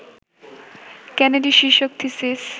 Kennedy শীর্ষক thesis